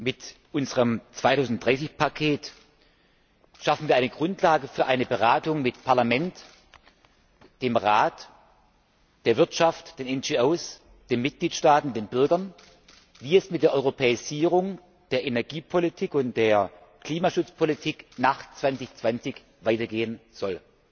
Mit unserem 2030 Paket schaffen wir eine Grundlage für eine Beratung mit dem Parlament, dem Rat, der Wirtschaft, den NGOs, den Mitgliedstaaten und den Bürgern, wie es mit der Europäisierung der Energiepolitik und der Klimaschutzpolitik nach 2020 weitergehen soll.